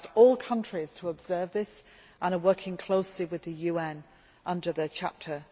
We have asked all countries to observe this, and are working closely with the UN under Chapter